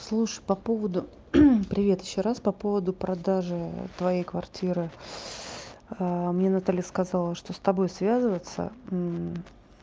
слушай по поводу привет ещё раз по поводу продажи твоей квартиры мне наталья сказала что с тобой связываться